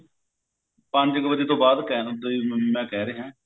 ਪੰਜ ਵੱਜੇ ਕ ਤੋਂ ਬਾਅਦ ਮੈਂ ਕਹਿ ਰਿਹਾ